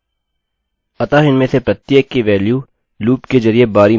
अतः इनमें से प्रत्येक की वेल्यू value लूप के जरिये बारी में हैं